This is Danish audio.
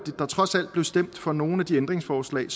trods alt stemte for nogle af de ændringsforslag